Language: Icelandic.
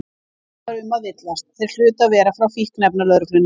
Ekki var um að villast, þeir hlutu að vera frá Fíkniefnalögreglunni.